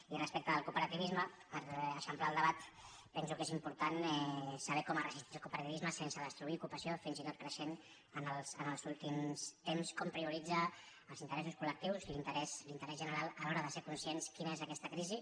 i respecte del cooperativisme per eixamplar el debat penso que és important saber com ha resistit el coope·rativisme sense destruir ocupació fins i tot creixent en els últims temps com prioritza els interessos col·lectius i l’interès general a l’hora de ser conscients de quina és aquesta crisi